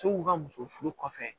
u ka muso furu kɔfɛ